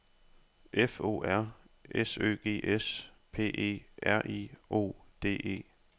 F O R S Ø G S P E R I O D E